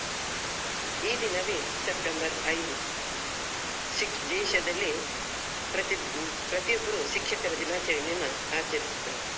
ಈ ದಿನವೇ September ಐದು ಶಿಕ್~ ದೇಶದಲ್ಲಿ ಪ್ರತಿ ಪ್ರತಿಯೊಬ್ಬರೂ ಶಿಕ್ಷಕರ ದಿನಾಚರಣೆಯನ್ನ ಆಚರಿಸುತ್ತಾರೆ.